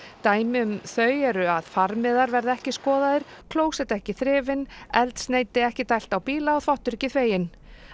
dæmi um þau eru að farmiðar verða ekki skoðaðir klósett ekki þrifin eldsneyti ekki dælt á bíla og þvottur ekki þveginn